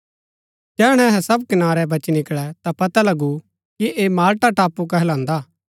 जैहणै अहै सब कनारै बची निकळै ता पता लगु कि ऐह माल्टा टापू कहलान्दा